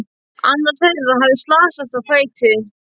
Annar þeirra hafði slasast á fæti.